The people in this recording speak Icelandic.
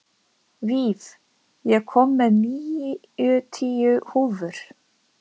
Víf, ég kom með níutíu húfur!